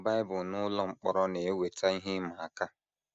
Ịmụ Bible n’ụlọ mkpọrọ na - eweta ihe ịma aka.